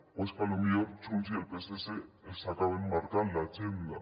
o és que potser junts i el psc els acaben marcant l’agenda